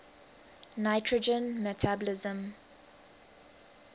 nitrogen metabolism